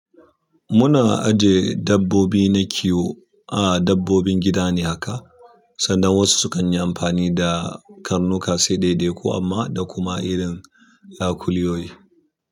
Muna aje dabbobi na kiwo a dabbobin gida ne haka sanda wasu sukan yi amfani da karnuka sai ɗai ɗai ku amma da kuma irin yakuliyoyi.